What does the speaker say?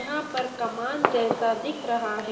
यहां पर कमान जैसा दिख रहा है।